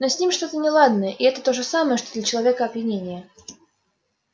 но с ним что то неладное и это то же самое что для человека опьянение